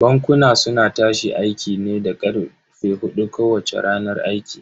Bankuna suna tashi aiki ne da karfe hudun kowacce ranar aiki.